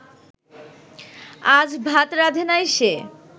আজ ভাত রাঁধে নাই সে